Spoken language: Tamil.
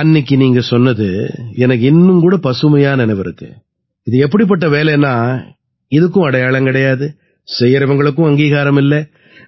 அன்னைக்கு நீங்க சொன்னது எனக்கு இன்னும் கூட பசுமையா நினைவிருக்கு இது எப்படிப்பட்ட வேலைன்னா இதுக்கும் அடையாளம் கிடையாது செய்யறவங்களுக்கும் அங்கீகாரம் இல்லை